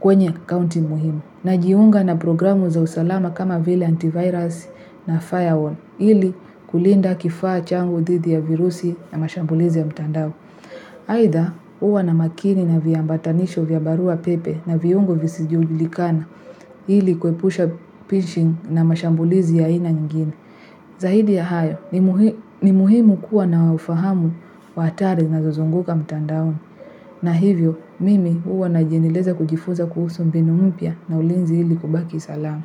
kwenye akaunti muhimu. Najiunga na programu za usalama kama vile antivirus na firewall ili kulinda kifaa changu dhidi ya virusi na mashambulizi ya mtandao. Aidha huwa na makini na viambatanisho vya barua pepe na viungo visijulikana ili kuepusha pinching na mashambulizi ya aina nyingine. Zaidi ya hayo, ni muhimu kuwa na ufahamu wa athari zinazozunguka mtandaoni. Na hivyo, mimi huwa najiendeleza kujifunza kuhusu mbinu mpya na ulinzi ili kubaki salama.